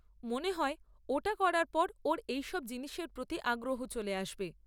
মনে হয় ওটা করার পর ওর এইসব জিনিসের প্রতি আগ্রহ চলে আসবে।